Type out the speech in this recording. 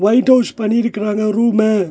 Light house பண்ணிருக்கறாங்க room .